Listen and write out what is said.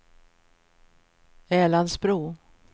Älandsbro